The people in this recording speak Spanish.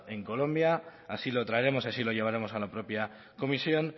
en colombia así lo traeremos y así lo llevaremos a la propia comisión